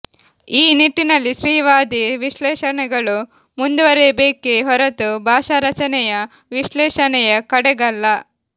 ಈ ನಿಟ್ಟಿನಲ್ಲಿ ಸ್ತ್ರೀವಾದಿ ವಿಶ್ಲೇಷಣೆಗಳು ಮುಂದುವರೆಯಬೇಕೇ ಹೊರತು ಭಾಷಾರಚನೆಯ ವಿಶ್ಲೇಷಣೆಯ ಕಡೆಗಲ್ಲ